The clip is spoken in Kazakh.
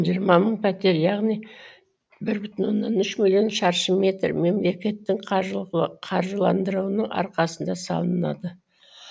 жиырма мың пәтер яғни бір бүтін оннан үш миллион шаршы метр мемлекеттің қаржыландыруының арқасында салынады